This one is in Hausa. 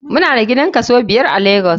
Mu na da gidan kaso biyar a lagos.